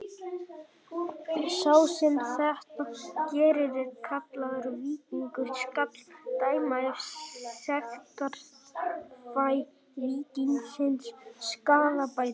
Sá sem þetta gerir er kallaður víkingur: skal dæma af sektarfé víkingsins skaðabætur.